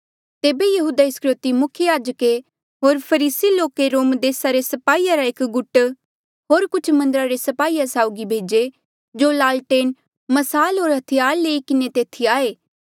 तेबे यहूदा इस्करयोति मुख्य याजके होर फरीसी लोके रोम देसा रे स्पाही रा एक गुट होर कुछ मन्दरा रे स्पाहीया साउगी भेजे जो लालटेन म्साल होर हथियार लई किन्हें तेथी आये